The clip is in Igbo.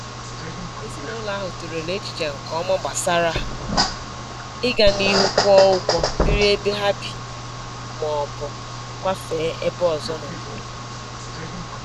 Ezinụlọ ahụ tụlere echiche nke ọma gbasara ịga n'ihu kwụọ ụgwọ biri ebe ha bi maọbụ kwafee ebe ọzọ n'obodo